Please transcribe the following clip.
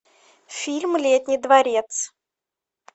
фильм летний дворец